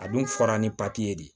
A dun fɔra ni papiye ye de